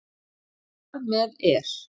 Þar með er